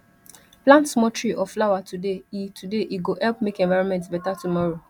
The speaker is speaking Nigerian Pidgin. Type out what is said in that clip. plant small tree or flower today e today e go help make environment better tomorrow